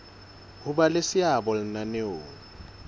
ho ba le seabo lenaneong